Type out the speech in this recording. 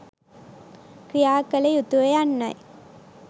ක්‍රියා කළ යුතුය යන්නයි.